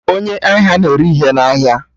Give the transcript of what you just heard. Onye ahịa na-ere ihe na ahịa